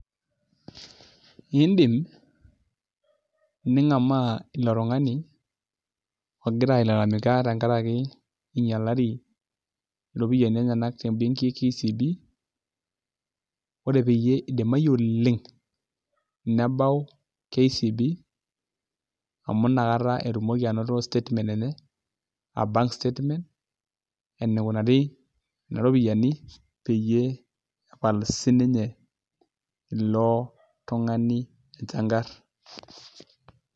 Iindim ningamaa ilo tung'ani ogira ailalamika tenkaraki inyialari iropiyiani enyenak tembeki e KCB ore peyie idimayu oleng' nebau KCB amu inakata etumoki anoto statement aa bank statement enikunari nena ropiyiani peyie epal sininye ilo tung'ani enchangarr.